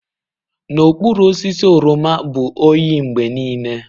N'okpuru osisi oroma bụ oyi mgbe niile.